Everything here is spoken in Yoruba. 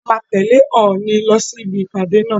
A máa tẹ̀lẹ́ Òòni lọ sí ibi ìpàdé náà.